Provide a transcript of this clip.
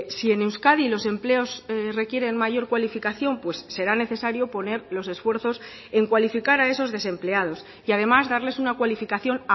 si en euskadi los empleos requieren mayor cualificación será necesario poner los esfuerzos en cualificar a esos desempleados y además darles una cualificación